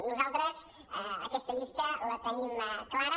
nosaltres aquesta llista la tenim clara